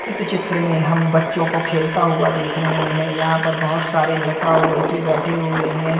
इस चित्र में हम बच्चों को खेलता हुआ देख रहे हैं यहां पर बहुत सारे लड़का और लड़की बैठे हुए हैं।